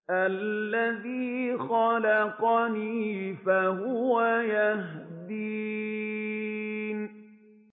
الَّذِي خَلَقَنِي فَهُوَ يَهْدِينِ